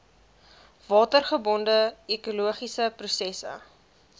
watergebonde ekologiese prosesse